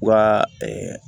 U ka